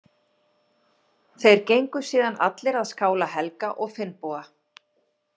Þeir gengu síðan allir að skála Helga og Finnboga.